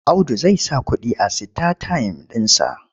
Audu zai saka kuɗi a sitatayim ɗinsa.